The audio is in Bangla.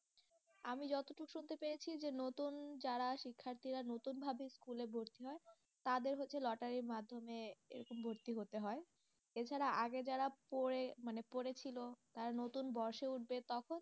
আমি যতদূর শুনতে পেয়েছি যে নতুন যারা শিক্ষার্থীরা নতুনভাবে school এ ভর্তি হয়, তাদের হচ্ছে লটারির মাধ্যমে এসে ভর্তি হতে হয়, এছাড়া আগে যারা পড়ে ওখানে পড়েছিল, তারা নতুন বর্ষে উঠবে তখন